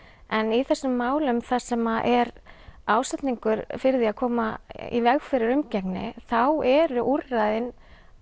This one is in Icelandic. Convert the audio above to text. en í þessum málum þar sem er ásetningur fyrir því að koma í veg fyrir umgengni þá eru úrræðin